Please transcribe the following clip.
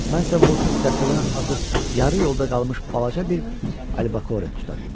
Mən isə vurtut dəstədən azıb yarı yolda qalmış balaca bir albakore tuta bilmişəm.